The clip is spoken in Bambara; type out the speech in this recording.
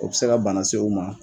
O be se ka bana se u ma